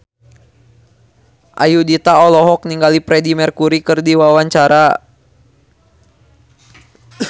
Ayudhita olohok ningali Freedie Mercury keur diwawancara